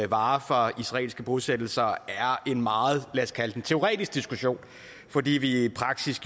varer fra israelske bosættelser er en meget teoretisk diskussion fordi vi i praksis